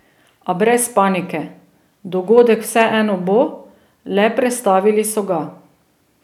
A brez panike, dogodek vseeno bo, le prestavili so ga.